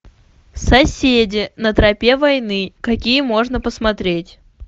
соседи на тропе войны какие можно посмотреть